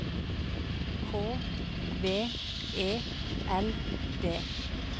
K V E L D